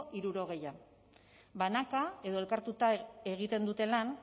hirurogeia banaka edo elkartuta egiten dute lan